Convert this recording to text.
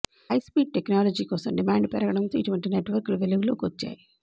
high speed technology కోసం demand పెరగడంతో ఇటువంటి నెట్వర్క్లు వెలుగులోకి వచ్చాయి